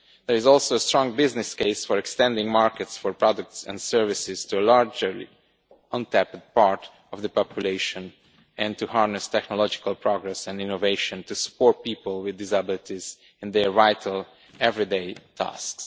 There is also a strong business case for extending markets for products and services to a largely untapped part of the population, and to harnessing technological progress and innovation to support people with disabilities in their vital everyday tasks.